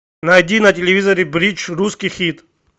найди на телевизоре бридж русский хит